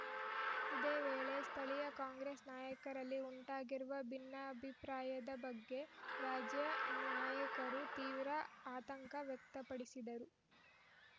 ಇದೇ ವೇಳೆ ಸ್ಥಳೀಯ ಕಾಂಗ್ರೆಸ್‌ ನಾಯಕರಲ್ಲಿ ಉಂಟಾಗಿರುವ ಭಿನ್ನಾಭಿಪ್ರಾಯದ ಬಗ್ಗೆ ರಾಜ್ಯ ನಾಯಕರು ತೀವ್ರ ಆತಂಕ ವ್ಯಕ್ತಪಡಿಸಿದರು